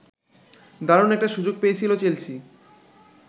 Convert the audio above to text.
দারুণ একটা সুযোগ পেয়েছিল চেলসি